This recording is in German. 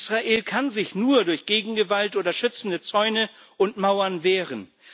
Israel kann sich nur durch Gegengewalt oder schützende Zäune und Mauern wehren.